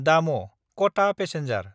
दामः–खता passenger